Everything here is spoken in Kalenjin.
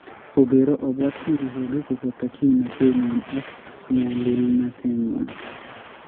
Ogeero, obwaat kirwoogik kobooto kimnateennywa ak nyalulnatennywa.